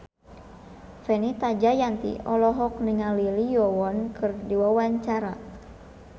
Fenita Jayanti olohok ningali Lee Yo Won keur diwawancara